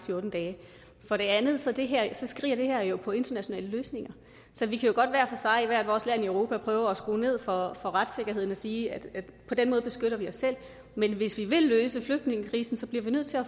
fjorten dage for det andet skriger det her jo på internationale løsninger så vi kan godt hver for sig i hvert vores land i europa prøve at skrue ned for retssikkerheden og sige at på den måde beskytter vi os selv men hvis vi vil løse flygtningekrisen bliver vi nødt til at